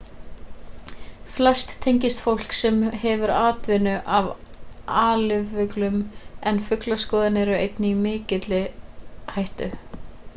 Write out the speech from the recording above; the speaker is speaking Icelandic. flest tengist fólki sem hefur atvinnu af alifuglum en fuglaskoðarar eru einnig í ákveðinni hættu